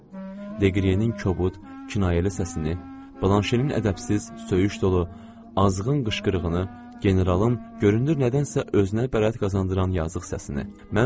Deqrinin kobud kinayəli səsini, Blanşenin ədəbsiz, söyüş dolu, azğın qışqırığını, generalın görünür nədənsə özünə bəraət qazandıran yazılı səsini.